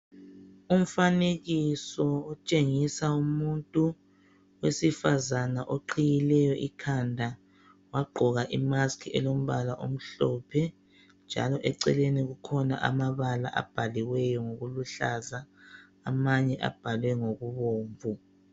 Umfanekiso otshengisa umuntu wesifazane oqhiyileyo ikhanda, wagqoka i"mask" elombala omhlophe njalo eceleni kukhona amabala abhaliweyo ngokuluhlaza. Amanye abhalwe ngokubomvu.